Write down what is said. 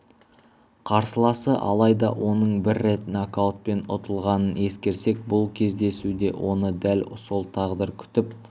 қарсыласы алайда оның бір рет нокаутпен ұтылғанын ескерсек бұл кездесуде оны дәл сол тағдыр күтіп